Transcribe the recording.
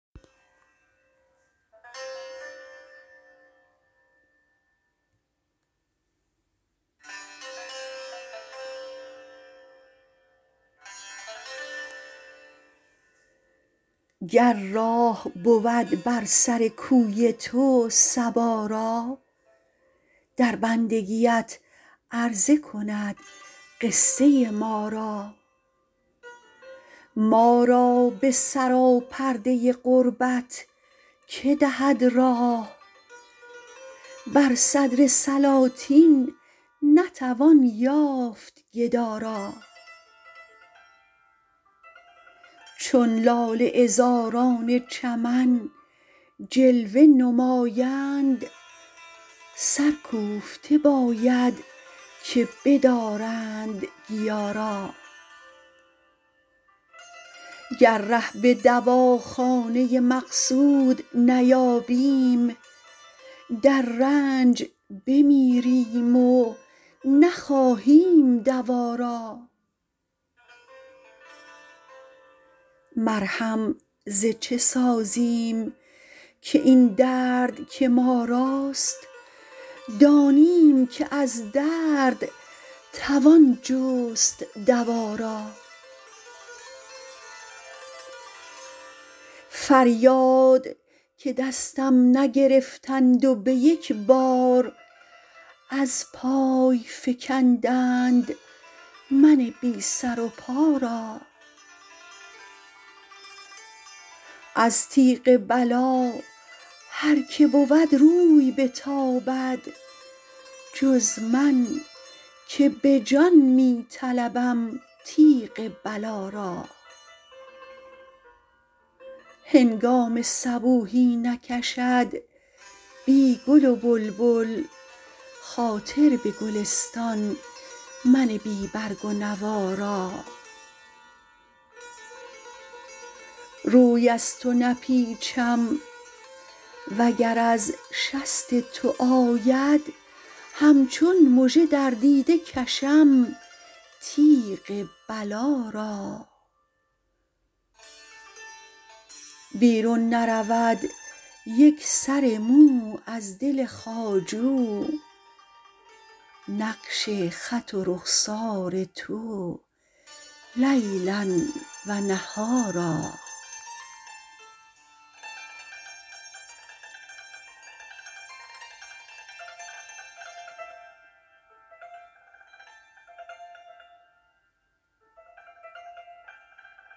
گر راه بود بر سر کوی تو صبا را در بندگیت عرضه کند قصه ما را ما را بسرا پرده ی قربت که دهد راه بر صدر سلاطین نتوان یافت گدا را چون لاله عذاران چمن جلوه نمایند سر کوفته باید که بدارند گیا را گر ره بدواخانه ی مقصود نیابیم در رنج بمیریم و نخواهیم دوا را مرهم ز چه سازیم که این درد که ما راست دانیم که از درد توان جست دوا را فریاد که دستم نگرفتند و بیکبار از پای فکندند من بی سر و پا را از تیغ بلا هر که بود روی بتابد جز من که بجان می طلبم تیغ بلا را هنگام صبوحی نکشد بی گل و بلبل خاطر بگلستان من بی برگ و نوا را روی از تو نپیچم و گر از شست تو آید همچون مژه در دیده کشم تیغ بلا را بیرون نرود یک سر مو از دل خواجو نقش خط و رخسار تو لیلا و نهارا